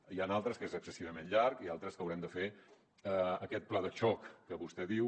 n’hi ha d’altres en què aquest és excessivament llarg i altres en què haurem de fer aquest pla de xoc que vostè diu